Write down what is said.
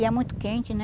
E é muito quente, né?